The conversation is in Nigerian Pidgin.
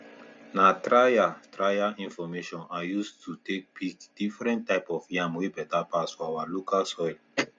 na trial trial information i use to take pick different type of yam wey better pass for our local soil